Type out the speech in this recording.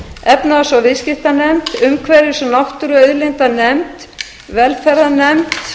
efnahags og viðskiptanefnd umhverfis og náttúruauðlindanefnd velferðarnefnd